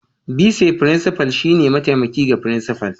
Bise Frincifal shine mataimaki ga Frincifal